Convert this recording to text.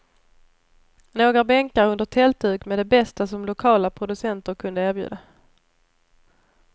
Några bänkar under tältduk med det bästa som lokala producenter kunde erbjuda.